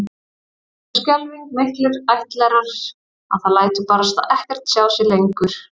Eða svo skelfing miklir ættlerar að það lætur barasta ekkert sjá sig lengur